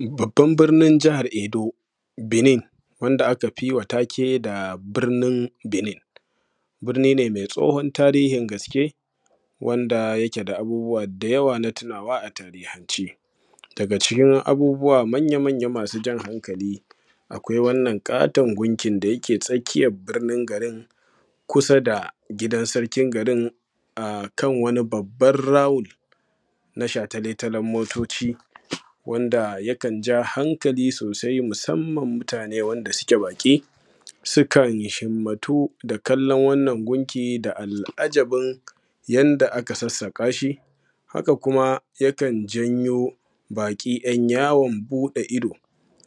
Babbar birnin jahar Edo Benin wanda aka fi wa take da birnin Benin, birni ne mai tsohon tarihin gaske wanda yake da abubuwa da yawa na tunawa a tarihance daga cikin abubuwa manya-manya masu jan hankali akwai wannan katon gunkin da yake tsakiyan birnin garin kusa da sarkin garin a kan wani babban round na shataletalen motoci wanda yakan ja hankali sosai musamman mutane wanda suke baki su kan himmatu da kallon wannan gunki da al’ajabin yanda aka sassaka shi haka kuma yakan janyo baki ‘yan yawan bude ido